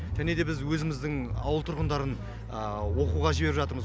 және де біз өзіміздің ауыл тұрғындарын оқуға жіберіп жатырмыз